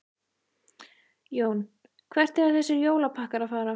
Jón: Hvert eiga þessir jólapakkar að fara?